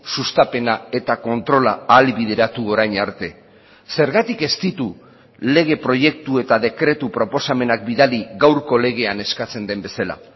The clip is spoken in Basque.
sustapena eta kontrola ahalbideratu orain arte zergatik ez ditu lege proiektu eta dekretu proposamenak bidali gaurko legean eskatzen den bezala